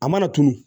A mana tunun